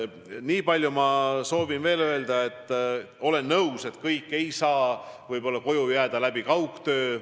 Nii palju soovin veel öelda, et olen nõus, et kõik ei saa koju jääda kaugtööd tegema.